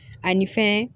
Ani fɛn